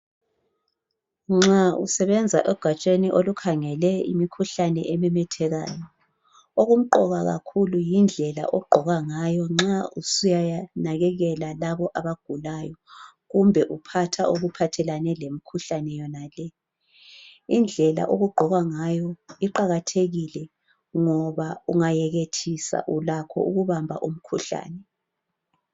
Nxa usebenza egatsheni olukhangele imikhuhlane ememethekayo okumqoka kakhulu yindlela ogqoka ngayo nxa usiyanakekela labo abagulayo kumbe uphatha okuphathelane lemkhuhlane yonale. Indlela okugqokwa ngayo iqakathekile ngoba ungayekithisa ulakho ukubamba umkhuhlane.